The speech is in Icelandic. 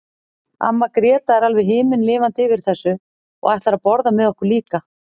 Amma Gréta er alveg himinlifandi yfir þessu og ætlar að borða með okkur líka.